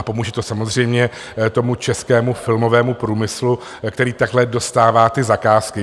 A pomůže to samozřejmě tomu českému filmovému průmyslu, který takhle dostává ty zakázky.